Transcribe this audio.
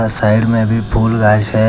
Side में भी फूल गाछ है।